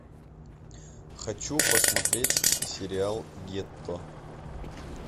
хочу посмотреть сериал гетто